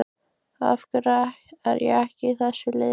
Af hverju er ég ekki í þessu liði?